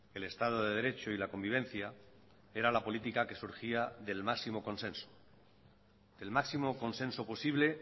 el estado de derecho y la convivencia era la política que surgía del máximo consenso el máximo consenso posible